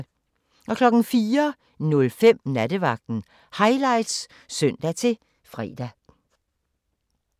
04:05: Nattevagten Highlights (søn-fre)